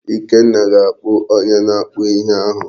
Ikenna ga-akpọ onye na-akpụ ihe ahụ.